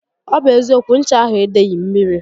Ọ bụ eziókwu, ncha ahụ edeghi mmiri